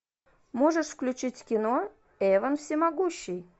можешь включить кино эван всемогущий